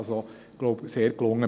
Das ist sehr gelungen.